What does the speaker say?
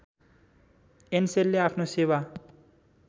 एनसेलले आफ्नो सेवा